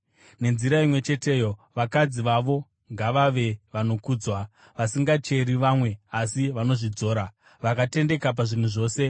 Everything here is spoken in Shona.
Nenzira imwe cheteyo, vakadzi vavo ngavave vanokudzwa, vasingacheri vamwe asi vanozvidzora, vakatendeka pazvinhu zvose.